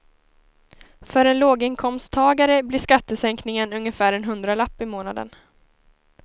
För en låginkomsttagare blir skattesänkningen ungefär en hundralapp i månaden.